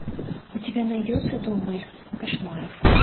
у тебя найдется дом моих кошмаров